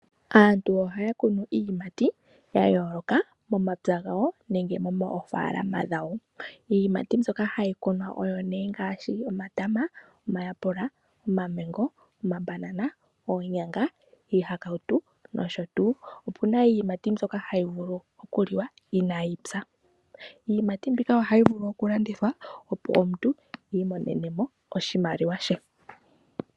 Aantu ohaya kunu iiyimati yayooloka momapya gawo nenge moofaalama dhawo. Iiyimati mbyoka hayi kunwa oyo nee ongaashi omatama, omayapula, omamengo, omabanana, oonyanga, iihakautu nosho tuu. Opuna iiyimati mbyoka hayi vulu okuliwa iinayipya. Iiyimati mbika ohayi vulu okulandithwa opo omuntu i imonene mo oshimaliwa she.